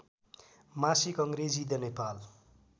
मासिक अङ्ग्रेजी द नेपाल